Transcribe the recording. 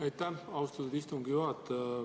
Aitäh, austatud istungi juhataja!